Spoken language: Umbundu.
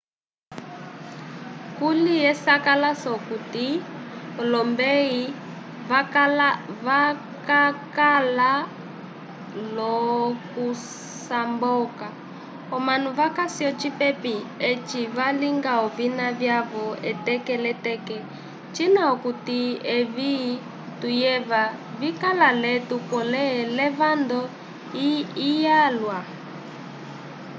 kuli esakalaso okuti olombeyi vakakala l'okusamboka omanu vakasi ocipepi eci valinga olovina vyavo eteke l'eteke cina okuti evi tuyeva vikala l'etu pole levando lyalwa